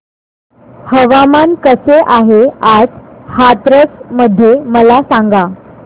हवामान कसे आहे आज हाथरस मध्ये मला सांगा